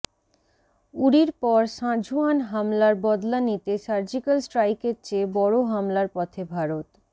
উরির পর সাঁঝোয়ান হামলার বদলা নিতে সার্জিক্যাল স্ট্রাইকের চেয়ে বড় হামলার পথে ভারত